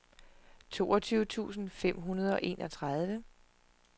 toogtyve tusind fem hundrede og enogtredive